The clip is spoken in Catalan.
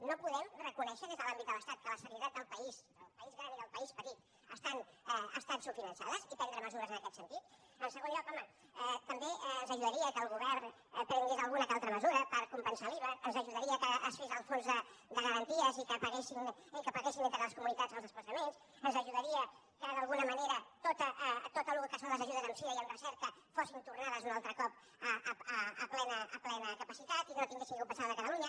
no podem reconèixer des de l’àmbit de l’estat que la sanitat del país del país gran i del país petit està subfinançada i prendre mesures en aquest sentit en segon lloc home també ens ajudaria que el govern prengués alguna o altra mesura per compensar l’iva ens ajudaria que es fes el fons de garanties i que paguessin entre les comunitats els desplaçaments ens ajudaria que d’alguna manera tot el que són les ajudes en sida i en recerca fossin tornades un altre cop a plena capacitat i que no haguéssim de compensar la de catalunya